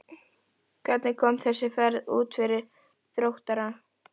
Hvernig kom þessi ferð út fyrir Þróttara?